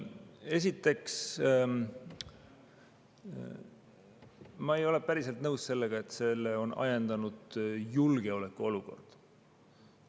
Esiteks, ma ei ole päriselt nõus sellega, et selle on ajendanud julgeolekuolukord.